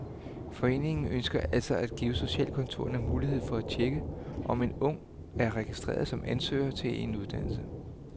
Foreningen ønsker altså at give socialkontorerne mulighed for at tjekke, om en ung er registreret som ansøger til en uddannelse.